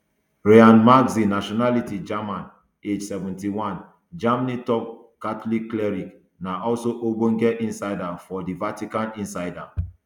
reinhard marx nationality german age seventy-one germany top catholic cleric na also ogbonge insider for di vatican insider